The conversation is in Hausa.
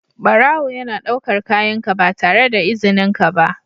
Barawo yana ɗaukar kayanka ba tare da izininka ba.